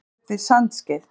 Staddur upp við Sandskeið.